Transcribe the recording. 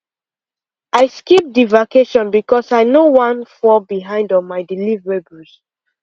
i skip the vacation because i no wan fall behind on my deliverables